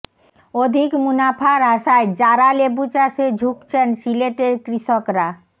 অধিক মুনাফার আশায় জারা লেবু চাষে ঝুঁকছেন সিলেটের কৃষকরা